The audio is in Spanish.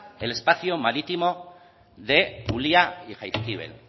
el espacio marítimo de ulia y jaizkibel